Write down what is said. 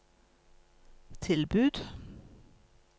tilbud